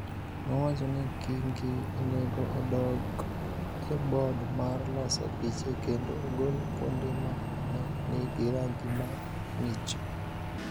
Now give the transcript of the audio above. nowacho ni Kingi onego odok e board mar loso piche kendo ogol kuonde ma ne nigi rangi ma ng�ich.